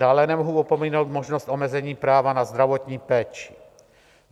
Dále nemohu opominout možnost omezení práva na zdravotní péči.